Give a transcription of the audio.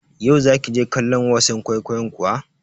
Yau za ki je kallon wasan kwaikwayon kuwa?